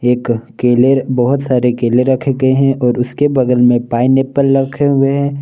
एक केले बहोत सारे केले रखे गये है और उसके बगल में पाइनएप्पल रखे हुए है।